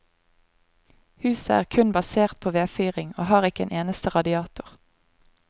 Huset er kun basert på vedfyring og har ikke en eneste radiator.